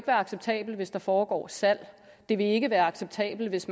være acceptabelt hvis der foregår salg det vil ikke være acceptabelt hvis